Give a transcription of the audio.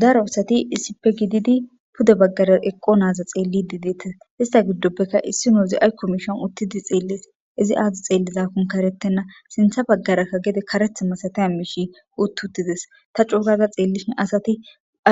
daro asati isipe gididi pude baggara eqqo naaza xeellidi deeta hista giddopbekka issi noozi aykko mishon uttidi xeellis izi aadi xeellizakon karetenna sintha baggarakka gede karetha masataya miishi utt hutides ta cuukaza xeellishin asati